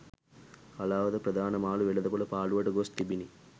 හලාවත ප්‍රධාන මාළු වෙළද පොළ පාලුවට ගොස් තිබිණි